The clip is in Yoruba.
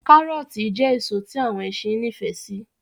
Kárọọti jẹ́ èso tí àwọn ẹṣin nifẹ si